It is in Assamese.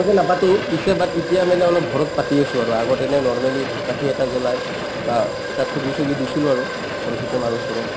নাপাতো , পিছে but এতিয়া মানে ঘৰত পাতি আছো আৰু আগত এনে normally ধূপকাঠি এটা জ্বলাই বা ঠগি-চগি দিছিলো আৰু সৰস্বতী মাৰ ওচৰত